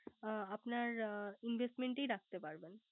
ও আপনার Investment ই রাখতে পারবেন